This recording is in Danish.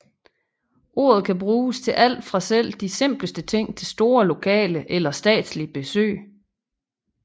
Ordet kan bruges til alt fra selv de simpleste ting til store lokale eller statslige besøg